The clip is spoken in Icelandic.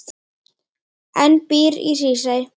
en býr í Hrísey.